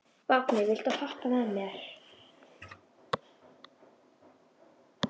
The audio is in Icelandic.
Vápni, viltu hoppa með mér?